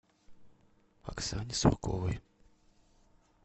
оксане сурковой